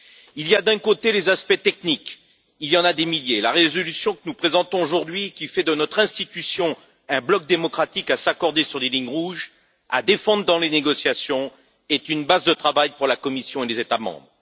Il y a d'un côté les aspects techniques, qui se comptent en milliers la résolution que nous présentons aujourd'hui, qui fait de notre institution un bloc démocratique capable de s'accorder sur les lignes rouges et qu'il importe de défendre dans les négociations, est une base de travail pour la Commission et les États membres.